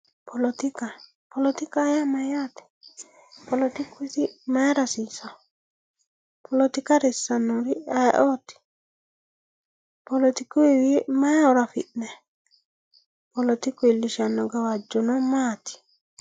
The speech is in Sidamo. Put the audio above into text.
Polletikka, polketikkaho yaa mayate, polletikku mayira hasisawo, pollettika harisawori ayyeeoti, polletikkuwiyi mayi horo afi'nayi, polletikku iillishano gawajjono maati